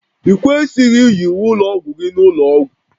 I kwesịghị iyi uwe ụlọ ọgwụ gị n'ụlọ ọgwụ